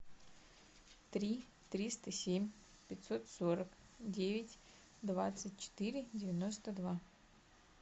три триста семь пятьсот сорок девять двадцать четыре девяносто два